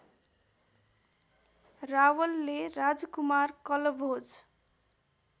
रावलले राजकुमार कलभोज